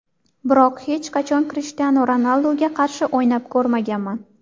Biroq hech qachon Krishtianu Ronalduga qarshi o‘ynab ko‘rmaganman.